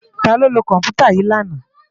Táló ló kòmpútá yi làná?